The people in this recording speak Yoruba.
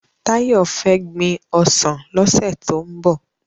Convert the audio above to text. Tayo fè gbin òsán lòsè tó n bò